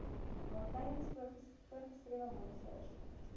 waartydens voorgeskrewe monsters